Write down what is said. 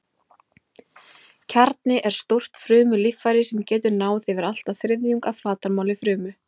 Kjarni er stórt frumulíffæri sem getur náð yfir allt að þriðjung af flatarmáli frumu.